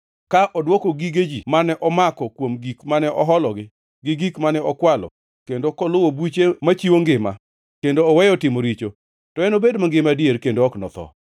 ka odwoko gige ji mane omako kuom gik mane ohologi, gi gik mane okwalo kendo koluwo buche machiwo ngima, kendo oweyo timo richo, to enobed mangima adier kendo ok enotho.